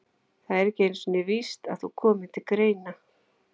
Það er ekki einu sinni víst að þú komir til greina.